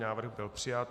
Návrh byl přijat.